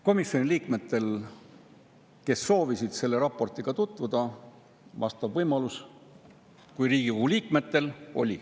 Komisjoni liikmetel, kes soovisid selle raportiga tutvuda, oli see võimalus, neil kui Riigikogu liikmetel.